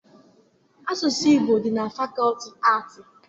Asụsụ Igbo dị na fakọọti aatị